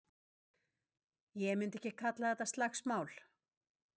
Ég myndi ekki kalla þetta slagsmál.